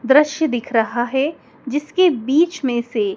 दृश्य दिख रहा है जिसके बीच में से--